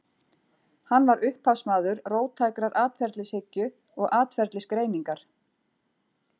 Hann var upphafsmaður róttækrar atferlishyggju og atferlisgreiningar.